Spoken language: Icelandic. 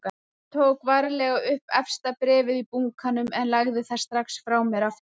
Ég tók varlega upp efsta bréfið í bunkanum en lagði það strax frá mér aftur.